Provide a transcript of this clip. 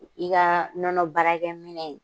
I kaa nɔnɔ baarakɛ minɛn ye